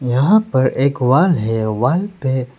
यहां पर एक वॉल है वॉल पे--